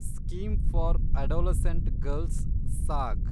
scheme for adolescent girls (saag)